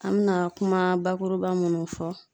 An mɛna kuma bakuruba munnu fɔ.